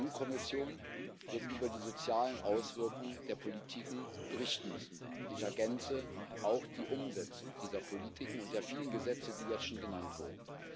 Die EU Kommission wird über die sozialen Auswirkungen der Politiken berichten müssen und ich ergänze auch über die Umsetzung dieser Politiken und der vielen Gesetze, die jetzt schon genannt wurden.